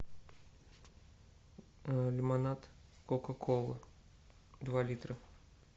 лимонад кока кола два литра